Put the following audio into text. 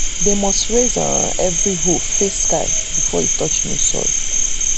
dem must um raise every hoe face sky before e touch new soil.